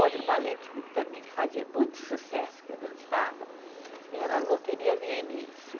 Outro balé que, que também que fazia muito sucesso, que eu dançava, era a Loteria